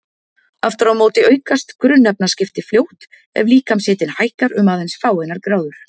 Aftur á móti aukast grunnefnaskipti fljótt ef líkamshitinn hækkar um aðeins fáeinar gráður.